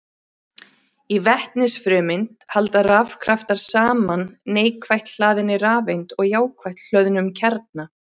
Í vetnisfrumeind halda rafkraftar saman neikvætt hlaðinni rafeind og jákvætt hlöðnum kjarna.